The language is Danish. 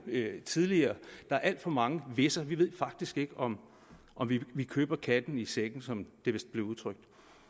tidligere der er alt for mange hvis’er vi ved faktisk ikke om om vi vi køber katten i sækken som det vist blev udtrykt